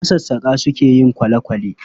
Masassaƙa suka yi kwale-kwale